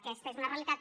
aquesta és una realitat